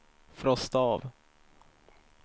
frosta av